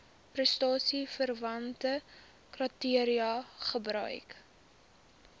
prestasieverwante kriteria gebruik